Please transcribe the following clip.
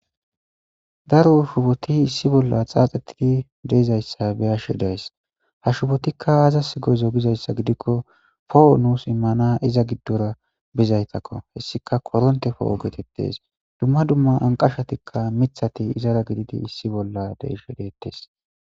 Daro shuboti issi bolla xaaxetidi dizaysa beyashe days. Ha shubotika aazas go'izo giikon, po'o nus immana iza gidora bizaysako. Hessatika koronteko geetetes. Duma duma anqashatinne mithati izara de'ishe deetes.